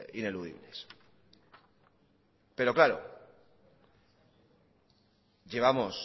ineludibles pero claro llevamos